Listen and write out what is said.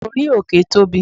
orí òkè Tobi